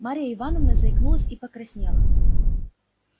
марья ивановна заикнулась и покраснела